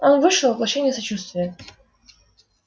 он вышел воплощение сочувствия